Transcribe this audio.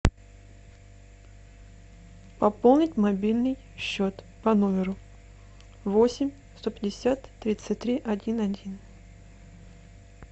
пополнить мобильный счет по номеру восемь сто пятьдесят тридцать три один один